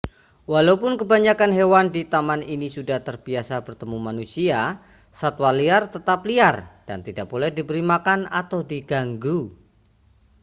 walau kebanyakan hewan di taman ini sudah terbiasa bertemu manusia satwa liar tetap liar dan tidak boleh diberi makan atau diganggu